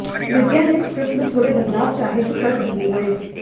विद्या ने स्क्रिप्ट में थोड़े बदलाव चाहे जो कर दिए गए